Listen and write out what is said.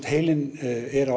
heilinn er